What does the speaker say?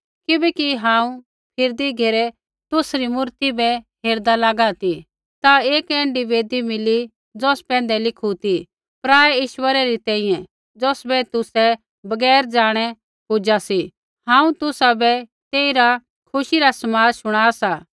किबैकि हांऊँ फिरदी घेरै तुसरी मूर्ति बै हेरदा लागा ती ता एक ऐण्ढी वेदी मिली ज़ौस पैंधै लिखू ती पराऐ ईश्वरै री तैंईंयैं ज़ौसबै तुसै बगैर ज़ाणै पूजा सी हांऊँ तुसाबै तेइरा खुशी रा समाद शुणा सा